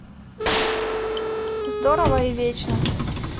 здорово и вечно